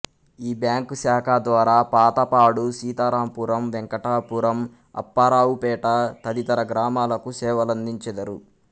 ఈ బ్యాంకు శాఖ ద్వారా పాతపాడు సీతారాంపురం వెంకటాపురం అప్పారావుపేట తదితర గ్రామాలకు సేవలందించెదరు